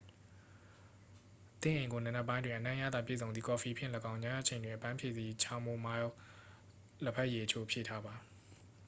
သင့်အိမ်ကို နံနက်ပိုင်းတွင် အနံ့အရသာ ပြည့်စုံသည့် ကော်ဖီဖြင့်လည်းကောင်း ညအချိန်တွင် အပန်းပြေစေသည့် ချာမိုမိုင်းလ် လဘက်ရည်အချို့ဖြည့်ထားပါ